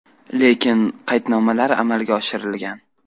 Lekin qaydnomalar amalga oshirilgan.